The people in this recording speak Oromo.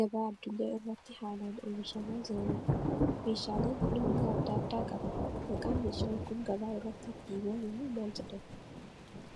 gabaa addunyaa irratti haalaan oomishamaa jiraniidha. Meeshaaleen kun hanga adda addaa qabu. Maqaan meeshaan kun gabaa irratti itti waamamu maal jedhama?